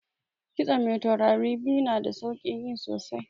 Kitson mai taurari biyu na da saukin yi sosai